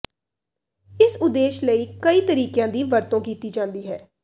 ਇਸ ਉਦੇਸ਼ ਲਈ ਕਈ ਤਰੀਕਿਆਂ ਦੀ ਵਰਤੋਂ ਕੀਤੀ ਜਾਂਦੀ ਹੈ